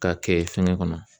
K'a kɛ fɛngɛ kɔnɔ